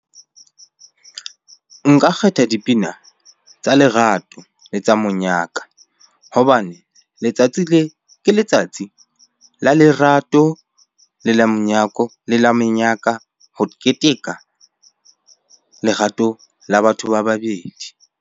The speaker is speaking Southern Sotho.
Nka kgetha dipina tsa lerato le tsa monyaka. Hobane letsatsi le, ke letsatsi la lerato le la monyako, le la menyaka ho keteka lerato la batho ba babedi.